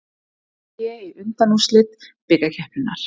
AG í undanúrslit bikarkeppninnar